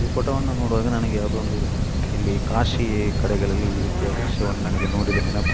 ಈ ಫೋಟೋ ವನ್ನು ನೋಡುವಾಗ ನನಗೆ ಯಾವುದೊ ಒಂದು ಇಲ್ಲಿ ಕಾಶಿ ಕಡೆಗಳಲ್ಲಿ ಈ ರೀತಿಯ ದೃಶ್ಯವನ್ನು ನನಗೆ ನೋಡಿದ ನೆನಪು.